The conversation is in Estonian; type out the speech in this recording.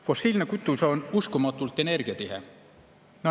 Fossiilne kütus on uskumatult energiatihe.